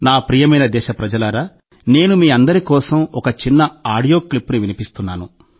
నా ప్రియమైన దేశప్రజలారా నేను మీ అందరి కోసం ఒక చిన్న ఆడియో క్లిప్ వినిపిస్తున్నాను